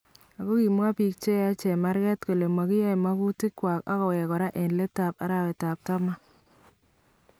Ako kimwaa biik cheyae chemarket kole makiyai magutiik chwak akoweek koraa en leetab arawetab taman